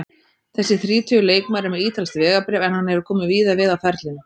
Þessi þrítugi leikmaður er með ítalskt vegabréf en hann hefur komið víða við á ferlinum.